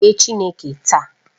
Fee Chineke taa!